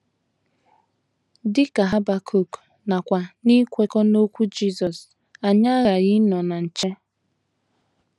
Dị ka Habakuk, nakwa n’ikwekọ n’okwu Jisọs, anyị aghaghị ịnọ na nche!